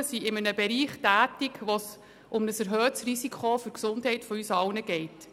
Arztpraxen sind in einem Bereich tätig, wo es um ein erhöhtes Risiko für die Gesundheit von uns allen geht.